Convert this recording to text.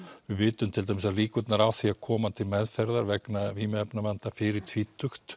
við vitum til dæmis að líkurnar á því að koma til meðferðar vegna vímuefnavanda fyrir tvítugt